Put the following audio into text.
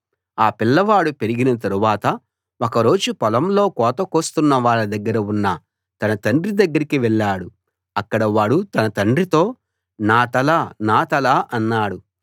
ఆ పిల్లవాడు పెరిగిన తరువాత ఒక రోజు పొలంలో కోత కోస్తున్న వాళ్ళ దగ్గర ఉన్న తన తండ్రి దగ్గరికి వెళ్ళాడు అక్కడ వాడు తన తండ్రితో నా తల నా తల అన్నాడు